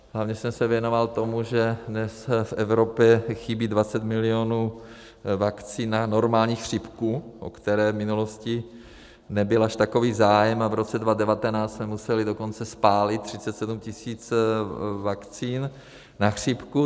Hlavně jsem se věnoval tomu, že dnes v Evropě chybí 20 milionů vakcín na normální chřipku, o které v minulosti nebyl až takový zájem, a v roce 2019 jsme museli dokonce spálit 37 tisíc vakcín na chřipku.